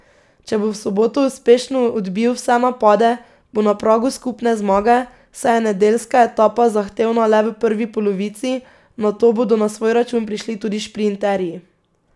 Če bo v soboto uspešno odbil vse napade, bo na pragu skupne zmage, saj je nedeljska etapa zahtevna le v prvi polovici, nato bodo na svoj račun prišli tudi šprinterji.